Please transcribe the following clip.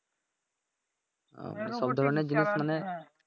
ওহ সব ধরনের জিনিস মানে